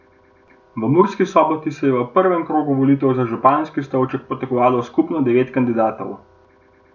V Murski Soboti se je v prvem krogu volitev za županski stolček potegovalo skupno devet kandidatov.